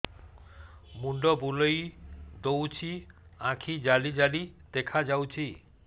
ମୁଣ୍ଡ ବୁଲେଇ ଦଉଚି ଆଖି ଜାଲି ଜାଲି ଦେଖା ଯାଉଚି